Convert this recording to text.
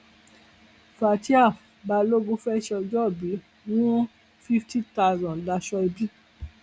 fatia balogun fẹẹ sọjọọbí wún fíftì tásán láṣọ ẹbí